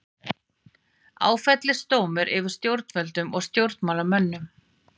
Áfellisdómur yfir stjórnvöldum og stjórnmálamönnum